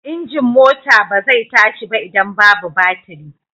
Injin mota ba zai tashi ba idan babu batiri.